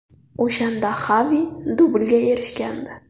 O‘shanda Xavi dublga erishgandi.